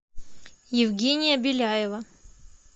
евгения беляева